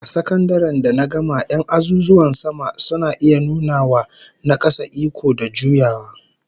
A sakandaren da na gama 'yan azuzuwan sama suna iya nuna wa na kasa iko da juyawa